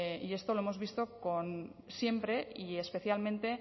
y esto lo hemos visto siempre y especialmente